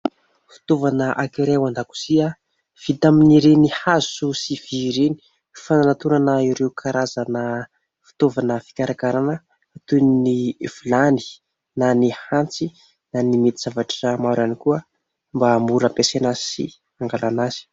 Fitaovana anankiray ao an-dakozia, vita amin'ireny hazo sy vy ireny, fanantonana ireo karazana fitaovana fikarakarana toy ny vilany na ny antsy na ny mety zavatra maro ihany koa mba hahamora hampiasaina azy sy hangalana azy.